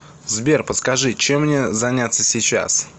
сбер подскажи чем мне заняться сейчас